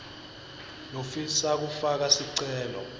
lofisa kufaka sicelo